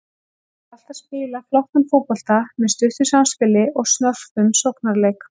Hann vill alltaf spila flottan fótbolta með stuttu samspili og snörpum sóknarleik.